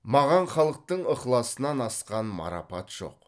маған халықтың ықыласынан асқан марапат жоқ